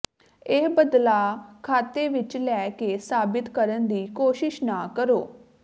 ਇਹ ਬਦਲਾਅ ਖਾਤੇ ਵਿੱਚ ਲੈ ਕੇ ਸਾਬਤ ਕਰਨ ਦੀ ਕੋਸ਼ਿਸ਼ ਨਾ ਕਰੋ